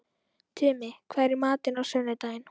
Tumi, hvað er í matinn á sunnudaginn?